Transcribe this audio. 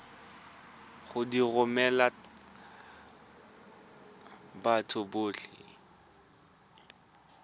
go di romela batho botlhe